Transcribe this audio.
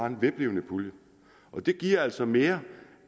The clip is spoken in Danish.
en vedvarende pulje og det giver altså mere